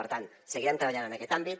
per tant seguirem treballant en aquest àmbit